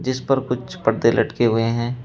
जिस पर कुछ पर्दे लटके हुए हैं।